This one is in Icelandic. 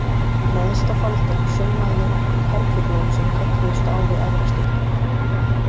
Neðst á faldinn saumaði ég nokkur perlublóm sem kölluðust á við efra stykkið.